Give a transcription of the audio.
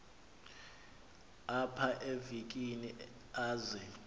apha evekini aze